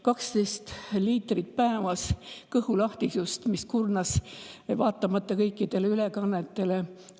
12 liitrit kõhulahtisust päevas kurnas teda vaatamata kõikidele ülekannetele.